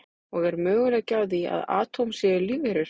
Og er möguleiki á því að atóm séu lífverur?